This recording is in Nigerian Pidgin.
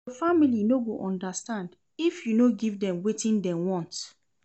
Your family no go understand if you no give dem wetin dem want.